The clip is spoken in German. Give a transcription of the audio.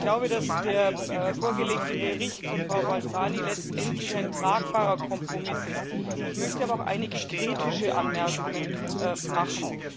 Ich glaube, dass der vorgelegte Bericht von Frau Balzani ein tragbarer Kompromiss ist. Ich möchte aber auch einige kritische Anmerkungen machen.